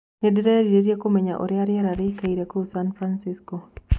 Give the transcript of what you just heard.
nindirieirie kũmenya ũrĩa rĩera rĩĩkaĩre kũũ san francisco